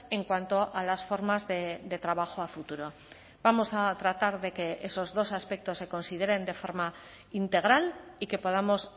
en cuanto a las formas de trabajo a futuro vamos a tratar de que esos dos aspectos se consideren de forma integral y que podamos